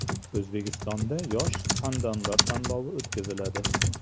O‘zbekistonda yosh suxandonlar tanlovi o‘tkaziladi.